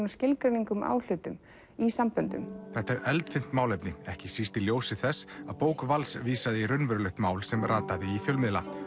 og skilgreining á hlutum í samböndum þetta er eldfimt málefni ekki síst í ljósi þess að bók Vals vísaði í raunverulegt málefni sem rataði í fjölmiðla